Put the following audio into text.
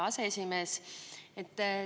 Hea aseesimees!